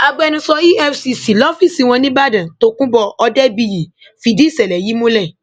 agbẹnusọ efcc lọfíìsì wọn nìbàdàn tokunbo òdebíyí fìdí ìṣẹlẹ yìí múlẹ